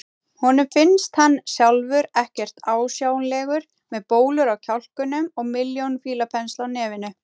Honum finnst hann sjálfur ekkert ásjálegur með bólur á kjálkunum og milljón fílapensla á nefinu.